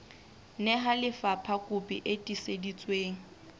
nehela lefapha kopi e tiiseditsweng